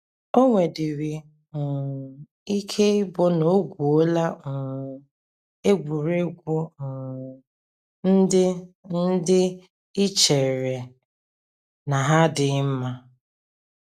O nwedịrị um ike ịbụ na o gwuola um egwuregwu um ndị ndị i chere na ha adịghị mma.